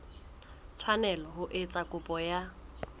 tshwanela ho etsa kopo ya